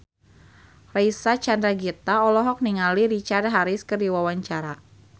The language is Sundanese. Reysa Chandragitta olohok ningali Richard Harris keur diwawancara